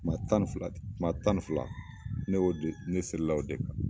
Ma tan ni fila ma tan ni fila ne y'o de ne seli la o de kan